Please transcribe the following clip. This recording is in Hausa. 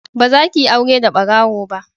Ba za ki yi aure da barawo ba!